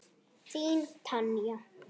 Þín Tanja.